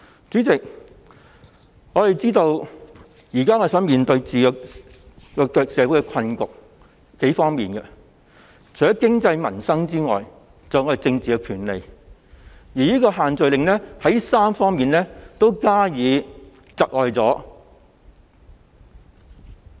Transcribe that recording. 主席，我們知道社會目前面對數方面的困局，除了經濟、民生外，還有政治，而這3方面均受限聚令影響。